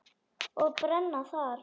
Og brenna þar.